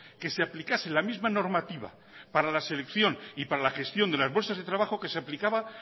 que se aplicase la misma normativa para la selección y para la gestión de las bolsas de trabajo que se aplicaba